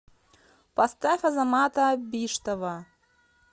поставь азамата биштова